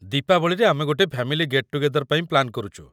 ଦୀପାବଳିରେ ଆମେ ଗୋଟେ ଫ୍ୟାମିଲି ଗେଟ୍ ଟୁଗେଦର୍ ପାଇଁ ପ୍ଲାନ୍ କରୁଛୁ ।